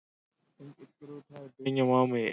An ƙirkiro "Tired" don ya mamaye "X".